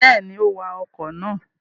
Bẹ́ẹ̀ni, ó wa ọkọ̀ náà.